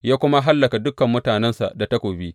Ya kuma hallaka dukan mutanensa da takobi.